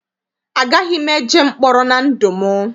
Agaghị m eje mkpọrọ na ndụ m.